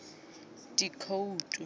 dikhoutu